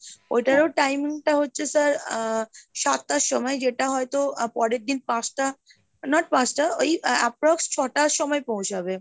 ওইটারও time টা হচ্ছে sir আহ সাতটার সময় যেটা হয়তো পরের দিন পাঁচটা not পাঁচটা ওই approx ছটার সময় পৌঁছাবে।